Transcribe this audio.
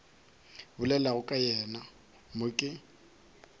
bolelago ka yena mo ke